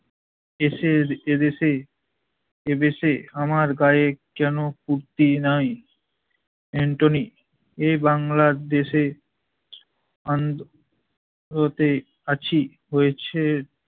কেশের এদেশে, এদেশে আমার গায়ে কেনো কুর্তি নাই? এন্টোনি এ বাংলার দেশে আন্দো~ লোতে আছি হয়েছে